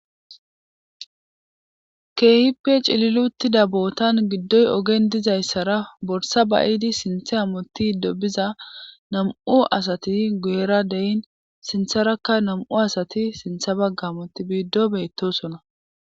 Keehipec ililutida bootan giddoy ogen dizayssara borsa bayidi sinthe amoti dobiza nam'u asati gu'era deyin sintharakka nam'u asati sintha bagga amoti biiddo beettosona.